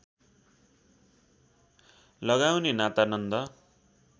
लगाउने नाता नन्द